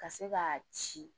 Ka se k'a ci